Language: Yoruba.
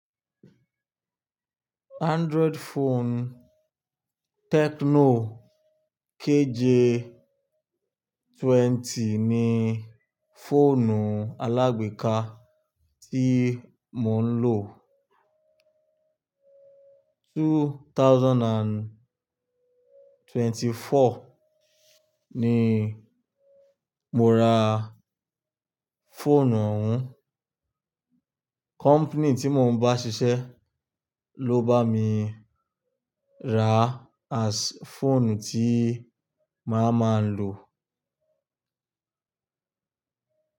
Android phone Tecno KJ twenty ni fóònù alàgbèéká tí mo ń lò. Two thousand and twenty four ni mo ra fóònù ohun. Company tí mo ń bá ṣiṣẹ́ ló bá mi rà as fóònù tí máa máa ń lò.